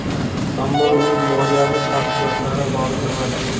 Ammo uning moliyaviy tafsilotlari ma’lum emas.